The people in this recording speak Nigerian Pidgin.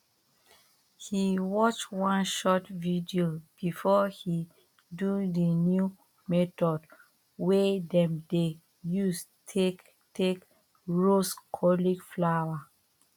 he watch one short video before he do the new method wey dem dey use take take roast cauliflower